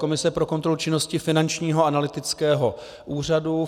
Komise pro kontrolu činnosti Finančního analytického úřadu.